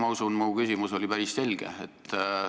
Ma usun, et mu küsimus oli päris selge.